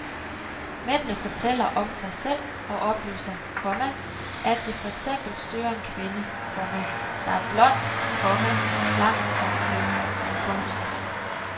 Mændene fortæller om sig selv og oplyser, komma at de for eksempel søger en kvinde, komma der er blond, komma slank og køn. punktum